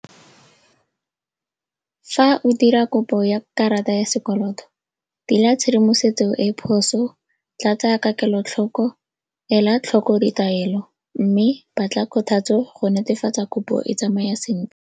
Fa o dira kopo ya karata ya sekoloto tshedimosetso e e phoso, tlatsa ka kelotlhoko, ela tlhoko ditaelo mme batla kgothatso go netefatsa kopo e tsamaya .